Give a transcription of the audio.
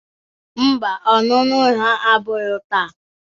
Ḿbà, ọnụnụ ha abụro taa